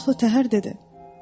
Sonra acıqlı təhər dedi: